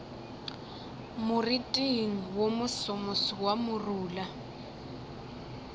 moriting wo mosomoso wa morula